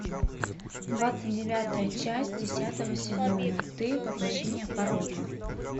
двадцать девятая часть десятого сезона ты воплощение порока